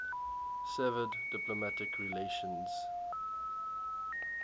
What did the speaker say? severed diplomatic relations